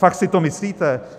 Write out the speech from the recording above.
Fakt si to myslíte?